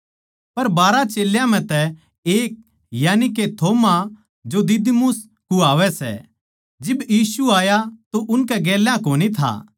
पर बारहा चेल्यां म्ह तै एक यानिके थोमा जो दिदुमुस कुह्वावै सै जिब यीशु आया तो उनकै गेल्या कोनी था